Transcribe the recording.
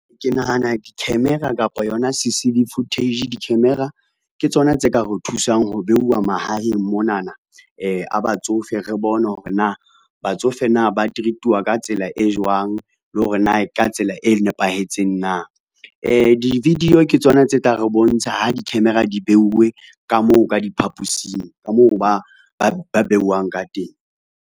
Ke nahana di-camera kapa yona C_C_V footage, di-camera ke tsona tse ka re thusang ho beuwa mahaheng monana a batsofe re bone hore na batsofe na ba treat-wa ka tsela e jwang le hore na ka tsela e nepahetseng na. Di-video ke tsona tse tla re bontsha ha di-camera di beuwe ka moo ka diphaposing ka moo ba beuwang ka teng.